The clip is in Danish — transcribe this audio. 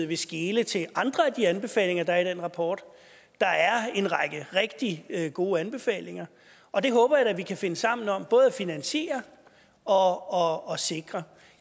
vil skele til andre af de anbefalinger der er i den rapport der er en række rigtig gode anbefalinger og dem håber jeg vi kan finde sammen om både at finansiere og sikre